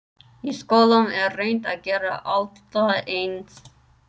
Í skólum er reynt að gera alla eins.